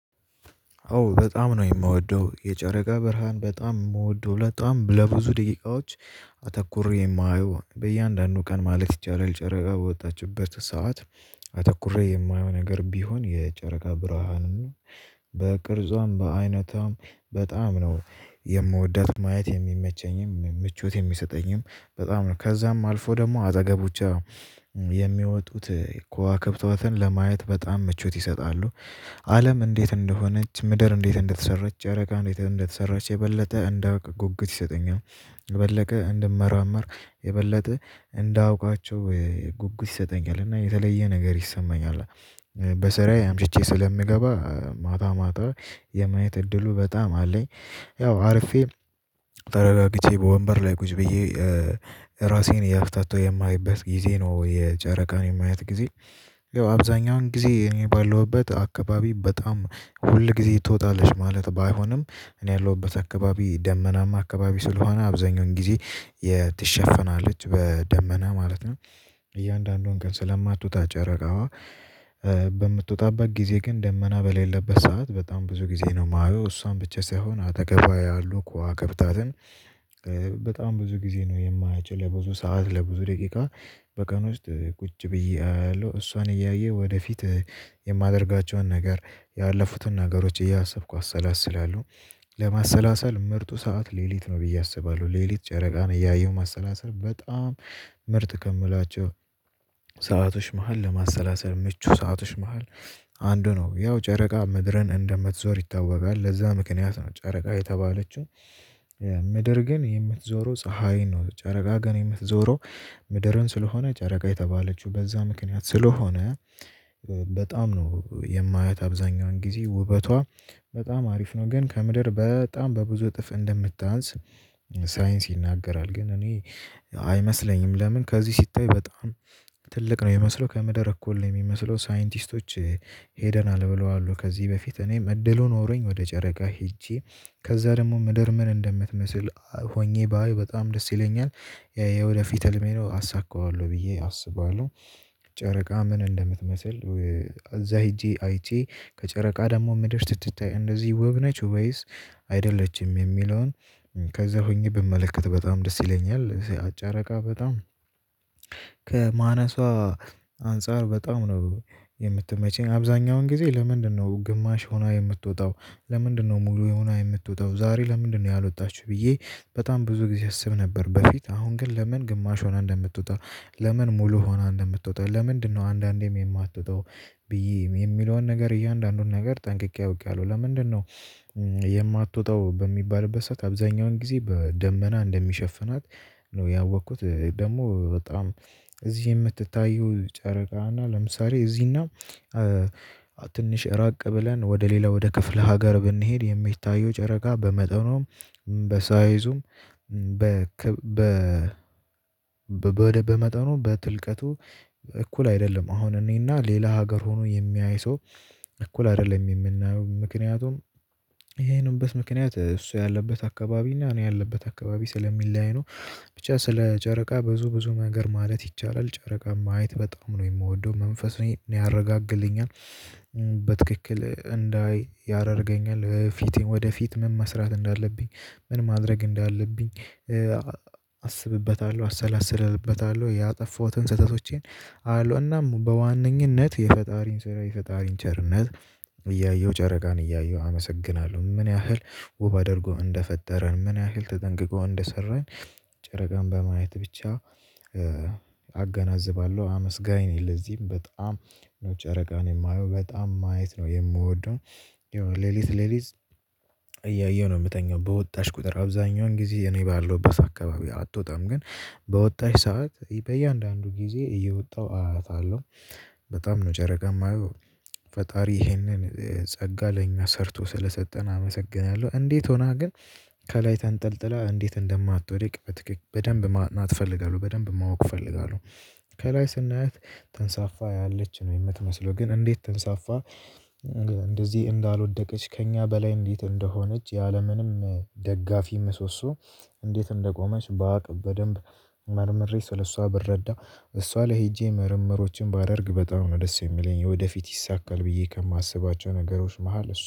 አዎ በጣም ነው የምወደው የጨረቃ ብርሃን በጣም የምወደው በጣም ለብዙ ደቂቃዎች አተኩሬ የማየው በእያንዳንዱ ቀን ማለት ይቻላል ጨረቃ በወጣችበት ሰዓት። አተኩሬ የማየው ነገር ቢሆን የጨረቃ ብርሃንን። በቅርጿም በአይነቷም በጣም ነው የምወዳት ማየት የሚመቸኝም ምቾት የሚሰጠኝም በጣም ነው ከዛም አልፎ ደግሞ አጠገቦቿ የሚወጡት ከዋክብቶትን ለማየት በጣም ምቾት ይሰጣሉ። አለም እንዴት እንደሆነች ምድር እንዴት እንደተሰራች ጨረቃ እንዴት እንደተሰራች የበለጠ እንዳውቅ ጉጉት ይሰጠኛል። የበለቀ እንድመራመር የበለጠ እንዳውቃቸው ጉጉት ይሰጠኛል እና የተለየ ነገር ይሰማኛል። በስራዬ አምሽቼ ስለምገባ ማታ ማታ የማየት እድሉ በጣም አለኝ። ያው አርፌ ተረጋግቼ በወንበር ላይ ቁጭ ብዬ ራሴን እያፍታታው የማይበት ጊዜ ነው የጨረቃን የማየት ጊዜ። አብዛኛውን ጊዜ እኔ ባለሁበት አካባቢ በጣም ሁል ጊዜ ትወጣለች ማለት ባይሆንም እኔ ያለሁበት አካባቢ ደመናማ አካባቢ ስለሆነ አብዛኛውን ጊዜ የትሸፍናለች በደመና ማለት ነው። እያንዳንዱን ቀን ስለማትወጣ ጨረቃዋ በምትወጣበት ጊዜ ግን ደመና በሌለበት ሰዓት በጣም ብዙ ጊዜ ነው የማየው እሷን ብቻ ሳይሆን አጠገቧ ያሉ ከዋክብታትን። በጣም ብዙ ጊዜ ነው የማያቸው ለብዙ ሰዓት ለብዙ ደቂቃ። በቀን ውስጥ ቁጭ ብዬ አያለሁ እሷን እያየው ወደፊት የማደርጋቸውን ነገር ያለፉትን ነገሮች እያሰብኩ አሰላስላለሁ። ለማሰላሰል ምርጡ ሰዓት ሌሊት ነው ብዬ አስባለሁ። ሌሊት ጨረቃን እያየሁ ማሰላሰል በጣም ምርጥ ከምላቸው ሰአቶች መሃል ለማሰላሰል ምቹ ሰአቶች መሃል አንዱ ነው። ያው ጨረቃ ምድርን እንደምትዞር ይታወቃል ለዛ ምክንያት ነው ጨረቃ የተባለችው። ምድር ግን የምትዞረው ፀሀይ ነው ጨረቃ ግን የምትዞረው ምድርን ስለሆነ ጨረቃ የተባለችው በዛ ምክንያት ስለሆነ። በጣም ነው የማያት አብዛኛውን ጊዜ ውበቷ። በጣም አሪፍ ነው ግን ከምድር በጣም በብዙ እጥፍ እንደምታንስ ሳይንስ ይናገራል ግን እኔ አይመስለኝም። ለምን ከዚህ ሲታይ በጣም ትልቅ ነው የሚመስለው ከምድር እኩል ነው የሚመስለው። ሳይንቲስቶች ሄደናል ብለዋል ከዚህ በፊት እኔም እድሉ ኖሮኝ ወደ ጨረቃ ሄጄ ከዛ ደግሞ ምድር ምን እንደምትመስል ሆኜ ባይ በጣም ደስ ይለኛል። የወደፊት ህልሜ ነው አሳካዋለሁ ብዬ አስባለሁ። ጨረቃ ምን እንደምትመስል እዛ ሄጄ አይቼ ከጨረቃ ደግሞ ምድር ስትታይ እንደዚህ ወብ ነች ወይስ አይደለችም የሚለውን? ከዛ ሆኜ ብመለከት በጣም ደስ ይለኛል። ጨረቃ በጣም ከማነሷ አንፃር በጣም ነው የምትመቸኝ አብዛኛውን ጊዜ ለምንድነው ግማሽ ሆና የምትወጣው? ለምንድነው ሙሉ ሆና የምትወጣው? ዛሬ ለምንድነው ያልወጣችሁ ብዬ። በጣም ብዙ ጊዜ አስብ ነበር በፊት አሁን ግን ለምን ግማሽ ሆና እንደምትወጣ ለምን ሙሉ ሆና እንደምትወጣ ለምንድነው አንዳንዴም የማትወጣው? ብዬ የሚለውን ነገር እያንዳንዱን ነገር ጠንቅቄ አውቄያለሁ ለምንድነው የማትወጣው በሚባልበት ሰዓት አብዛኛውን ጊዜ በደመና እንደሚሸፍናት። ነው ያወቅኩት ደግሞ በጣም እዚህ የምትታዩ ጨረቃ እና ለምሳሌ እዚህና ትንሽ ራቅ ብለን ወደ ሌላ ወደ ክፍለ ሀገር ብንሄድ የሚታየው ጨረቃ በመጠኑም በሳይዙም በክብ በ በመጠኑም በትልቀቱ እኩል አይደለም። አሁን እኔና ሌላ ሀገር ሆኖ የሚያይ ሰው እኩል አይደለም። የምናየው ምክንያቱም ይሄ የሆነበት ምክንያት እሱ ያለበት አካባቢ እና እኔ ያለበት አካባቢ ስለሚለያይ ነው። ብቻ ስለ ጨረቃ ብዙ ብዙ ነገር ማለት ይቻላል ጨረቃ ማየት በጣም ነው የምወደው መንፈሴን ያረጋግልኛል። በትክክል እንዳይ ያደርገኛል በፊቴ ወደፊት ምን መስራት እንዳለብኝ ምን ማድረግ እንዳለብኝ። አስብበታለሁ አሰላስለበታለሁ ያጠፋሁትን ስህተቶቼን አያለው እናም በዋነኝነት የፈጣሪን ስራ የፈጣሪን ቸርነት። እያየሁ ጨረቃን እያየሁ አመሰግናለሁ ምን ያህል ውብ አድርጎ እንደፈጠረን ምን ያህል ተጠንቅቆ እንደሰራን። ጨረቃን በማየት ብቻ አገናዝባለሁ አመስጋኝ ነኝ። ለዚህም በጣም ነው ጨረቃን የማየው በጣም ማየት ነው የምወደው። ይሄው ሌሊት ሌሊት እያየሁ ነው የምተኛው በወጣች ቁጥር አብዛኛውን ጊዜ እኔ ባለሁበት አካባቢ አትወጣም ግን በወጣሽ ሰዓት በእያንዳንዱ ጊዜ እየወጣሁ አያታለሁ። በጣም ነው ጨረቃን የማየው ፈጣሪ ይሄንን ጸጋ ለኛ ሰርቶ ስለሰጠን አመሰግናለሁ። እንዴት ሆና ግን ከላይ ተንጠልጥላ እንዴት እንደማትወደቅ በትክክል በደንብ ማየት እፈልጋለሁ በደንብ ማወቅ እፈልጋለሁ። ከላይ ስናያት ተንሳፋ ያለች ነው የምትመስለው ግን እንዴት ተንሳፋ? እንደዚህ እንዳልወደቀች ከእኛ በላይ እንዴት እንደሆነች ያለምንም ደጋፊ ምሶሶ። እንዴት እንደቆመች ባቅ በደንብ መርምሬ ስለሷ ብረዳ እሷ ላይ ሄጄ ምርምሮችን ባደርግ በጣም ነው ደስ የሚለኝ። ወደፊት ይሳካል ብዬ ከማስባቸው ነገሮች መሃል እሱ